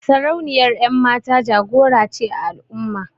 Sarauniyar 'yanmata jagora ce a al'umma.